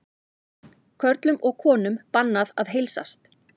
Körlum og konum bannað að heilsast